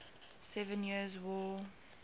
seven years war